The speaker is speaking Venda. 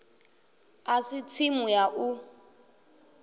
a si tsimu ya u